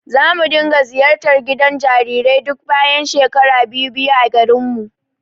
Zamu dinga ziyartar gidan jarirai duk bayan shekara biyu-biyu a garinmu.